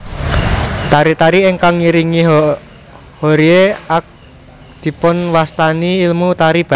Tari tari ingkang ngiringi Hoerye ak dipunwastani ilmu tari baris